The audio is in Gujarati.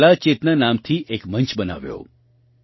તેમણે કલા ચેતના નામથી એક મંચ બનાવ્યો